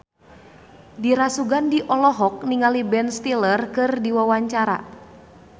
Dira Sugandi olohok ningali Ben Stiller keur diwawancara